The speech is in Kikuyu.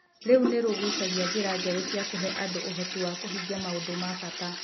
Rĩu nĩ rĩgucagia njĩra njerũ cia kũhe andũ ũhoti wa kũhingia maũndũ ma bata.